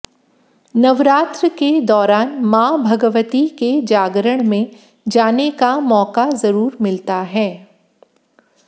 नवरात्र के दौरान मां भगवती के जागरण में जाने का मौका जरूर मिलता है